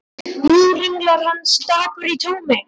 Nú hringlar hann stakur í tómi.